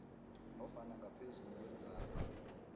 nofana ngaphezulu kweenzathu